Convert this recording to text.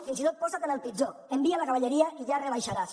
fins i tot posat en el pitjor envia la cavalleria i ja ho rebaixaràs